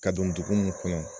Ka don dugu in kɔnɔ yan.